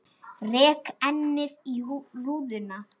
Rek ennið í rúðuna.